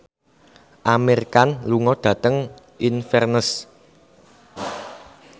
Amir Khan lunga dhateng Inverness